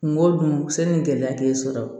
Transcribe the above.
Kungo dun sani gɛlɛya t'e sɔrɔ